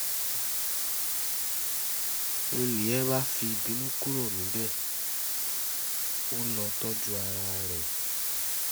n nìyẹn bá fìbínú kúrò níbẹ̀ ó lọ́ọ́ tọ́jú ara rẹ